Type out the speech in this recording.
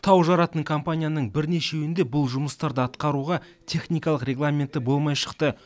тау жаратын компанияның бірнешеуінде бұл жұмыстарды атқаруға техникалық регламенті болмай шықты